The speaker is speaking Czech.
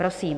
Prosím.